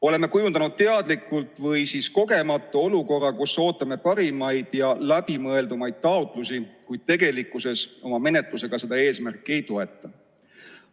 Oleme kujundanud teadlikult või kogemata olukorra, kus ootame parimaid ja läbimõeldumaid taotlusi, kuid tegelikkuses oma menetlusega seda eesmärki ei toeta.